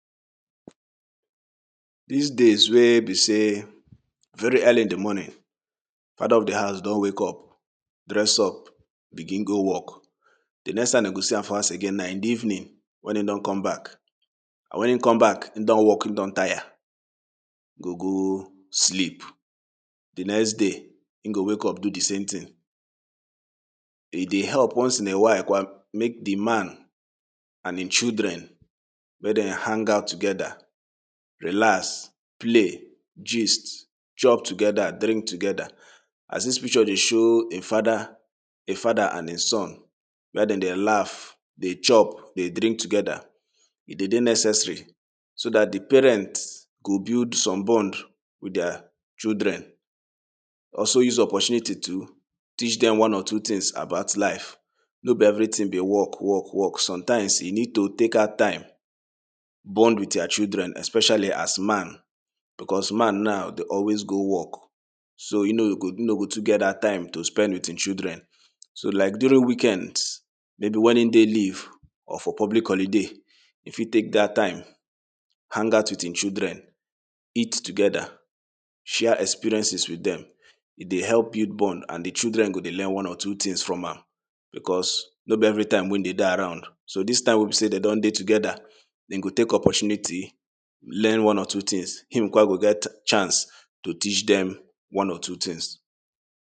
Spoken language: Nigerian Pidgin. dis days wey be sey very early in de morning fada of de house done wake up dress up begin go work de next time dem go see am for house again na in de evening wen him don come back and wen him come back him don work him don taya go go sleep de next day him go wake up do de same ting e dey help once in a while make de man and him children make dem hangout together relax play gist chop together drink together as dis picture dey show a fada a fada and a son wey dem dey laff dey chop dey drink together e de dey necessary so dat de parent go build some bond wit dia children also use opportunity to teach dem one or two tings about life no be everyting be work work work sometimes you need to take out time bond wit your children especially as man because man now dey always go work so him no go too get dat time to spend wit him children so like during weekends maybe wen him dey leave or for public holiday e fit take dat time hangout wit him children eat together share experiences wit dem e dey help build bond and de children go dey learn one or two tings from am because no be everytime wey him de dey around so dis time wey be sey de don dey together e go take opportunity learn one or two tings him kwa go get chance to teach dem one or two tings